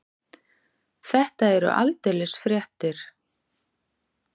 Þetta eru aldeilis fréttir.